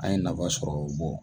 An ye nafa sɔrɔ